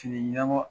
Fini ɲɛnabɔ